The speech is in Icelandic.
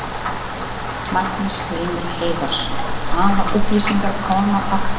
Magnús Hlynur Hreiðarsson: Hvaða upplýsingar koma þarna fram?